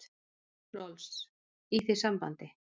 Rolfs, í því sambandi.